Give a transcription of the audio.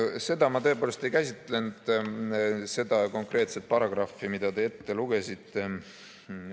Jah, ma tõepoolest ei käsitlenud seda konkreetset paragrahvi, mida te ette lugesite.